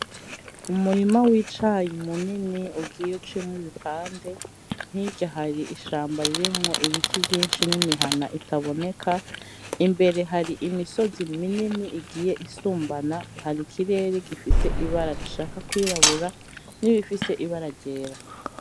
N'umurima wicayi munini ugiye uciyemwo ibipande, hirya hari ishamba ririmwo ibiti vyinshi nimihana itaboneka. Imbere hari imisozi minini igiye isumbana. Hari ikirere gifise ibara rishaka kwirabura nirifise ibara ryera.